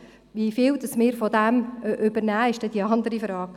Wie viel davon wir übernehmen, ist dann eine andere Frage.